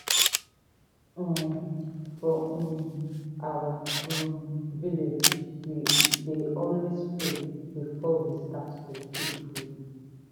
um for um our um village we dey always pray before we start to keep food.